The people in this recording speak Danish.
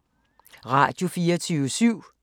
Radio24syv